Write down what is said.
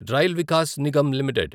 rail Vikas Nigam limited